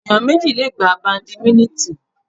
Ẹ̀yàn méjì le gbá Bàdìmínítìn.